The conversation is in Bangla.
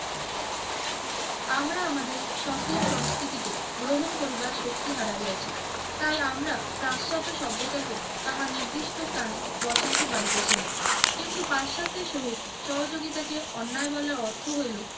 আমরা আমাদের সক্রিয় সংস্কৃতিকে গ্রহণ করিবার শক্তি হারাইয়াছি। তাই আমরা পাশ্চাত্য সভ্যতাকে তাহার নির্দিষ্ট স্থানে বসাইতে পারিতেছি না। কিন্তু পাশ্চাত্যের সহিত সহযোগিতাকে অন্যায় বলার অর্থ হইল